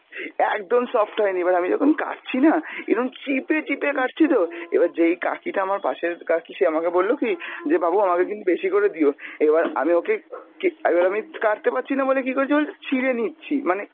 একদম soft হয়নি, এবার আমি যখন কাটছিনা এরম চিপে চিপে কাটছি তো, এবার যেই কাকিটা আমার পাশের কাকি সে আমাকে বললো কী যে বাবু আমাকে কিন্তু বেশি করে দিও, এবার আমি ওকে কে~ আমি কাটতে পারছিনা বলে কী করেছি বলতো ছিঁড়ে নিচ্ছি, মানে